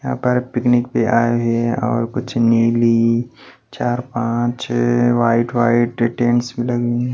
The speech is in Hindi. यहां पर पिकनिक में आए हुए हैं और कुछ नीली चार पांच छह वाइट वाइट लगी हुए हैं।